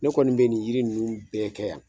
Ne kɔni be nin yiri ninnu bɛɛ kɛ yan